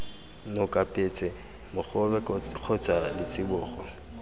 noka petse mogobe kgotsa letsibogo